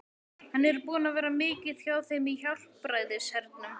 Hann er búinn að vera mikið hjá þeim í Hjálpræðishernum.